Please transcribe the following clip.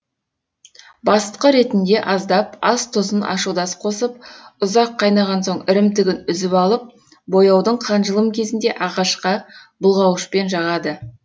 басытқы ретінде аздап ас тұзын ашудас қосып ұзақ қайнаған соң ірімтігін үзіп алып бояудың қанжылым кезінде ағашқа бұлғауышпен жағады